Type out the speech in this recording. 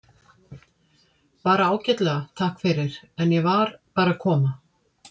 Bara ágætlega, takk fyrir, en ég var bara að koma.